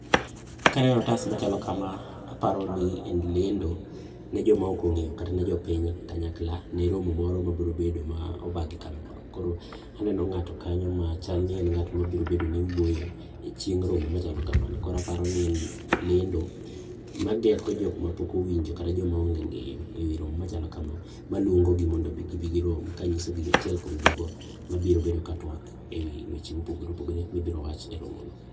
kaneno otas machalo kama to aparo ni en lendo ne joma ok ong'eyo kata ne jopinykanyakla ne romo moro mabiro bedo, aneno ng'ato kanyo machal ni obiro bedo ngat machalo ni wuoyo e chieng romo machalo kamano, koro aparo ni en lendo mageto jok ma pok owinjo kata jok maonge e riwruok machalo kamano maluongo gi ni mondo gi bi girom manyiso gi achiel kuom jogo mabiro bedo ka twak ewi weche mopogore opogore mibiro wach e romono.